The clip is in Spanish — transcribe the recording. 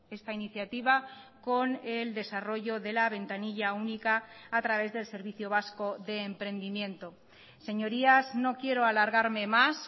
esta iniciativa con el desarrollo de la ventanilla única a través del servicio vasco de emprendimiento señorías no quiero alargarme más